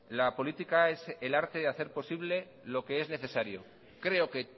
la política es el arte de hacer posible lo que es necesario creo que